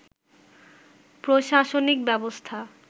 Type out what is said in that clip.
প্রশাসনিক ব্যবস্থা